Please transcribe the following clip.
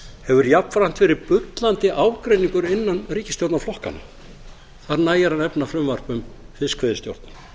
hefur jafnframt verið bullandi ágreiningur innan ríkisstjórnarflokkanna þar nægir að nefna frumvarp um fiskveiðistjórnina